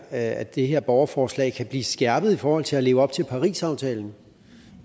at det her borgerforslag kan blive skærpet i forhold til at leve op til parisaftalen